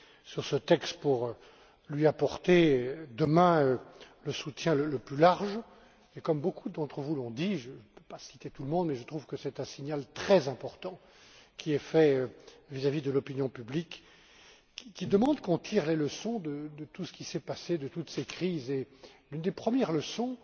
sur ce texte pour lui apporter demain le soutien le plus large, et comme beaucoup d'entre vous l'ont dit, je ne vais pas citer tout le monde, je trouve que c'est un signal très important qui est fait vis à vis de l'opinion publique, qui demande qu'on tire les leçons de tout ce qui s'est passé, de toutes ces crises. Une des premières leçons,